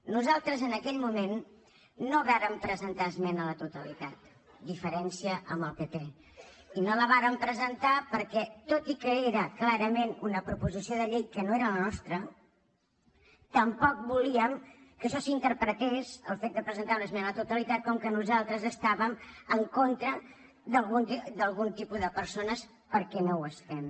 nosaltres en aquell moment no vàrem presentar esmena a la totalitat diferència amb el pp i no la vàrem presentar perquè tot i que era clarament una proposició del llei que no era la nostra tampoc volíem que això s’interpretés el fet de presentar una esmena a la totalitat com que nosaltres estàvem en contra d’algun tipus de persones perquè no ho estem